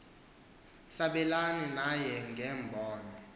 sabelane naye ngeembono